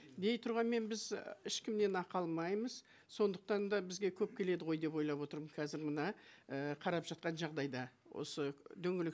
дей тұрғанмен біз ешкімнен ақы алмаймыз сондықтан да бізге көп келеді ғой деп ойлап отырмын қазір мына і қарап жатқан жағдайда осы дөңгелек